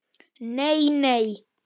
Nei, nei!